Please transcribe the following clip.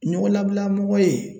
Ɲɔgɔnlabila mɔgɔ ye